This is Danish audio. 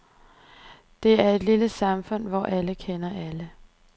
Det er et lille samfund, hvor alle kender alle.